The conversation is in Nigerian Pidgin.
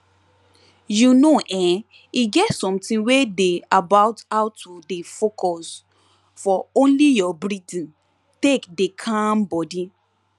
you know[um]e get something wey dey about how to dey focus for only your breathing take deh calm body